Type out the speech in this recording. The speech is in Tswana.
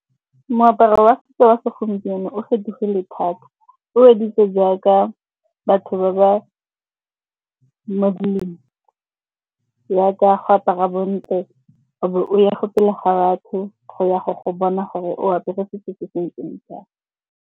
Moaparo wa setso wa segompieno o fetogile thata. O editse jaaka go apara bontle, o be o ya fo pele ga batho go ya gwa go bona gore o apere setso se se ntseng jang.